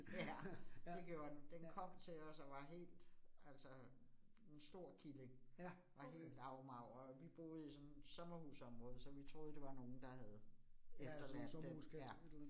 Ja, det gjorde den. Den kom til os, og var helt altså, en stor killing, var helt afmagret, vi boede i sådan et sommerhusområde, så vi troede, at det var nogen, der havde efterladt den. Ja